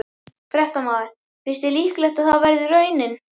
Fréttamaður: Finnst þér líklegt að það verði raunin?